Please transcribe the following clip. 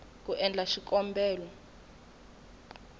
ku endla xikombelo na ku